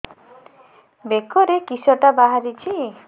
ବେକରେ କିଶଟା ବାହାରିଛି